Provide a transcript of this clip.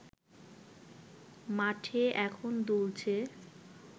মাঠে এখন দুলছে